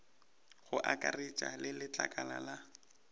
go akaretša le letlakala la